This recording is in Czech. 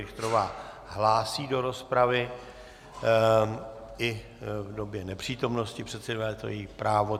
Richterová hlásí do rozpravy i v době nepřítomnosti předsedy vlády, je to její právo.